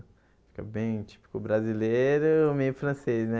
Fica bem típico brasileiro e meio francês, né?